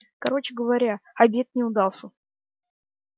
короче говоря обед не удался